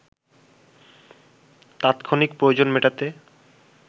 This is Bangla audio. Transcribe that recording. তাৎক্ষণিক প্রয়োজন মেটাতে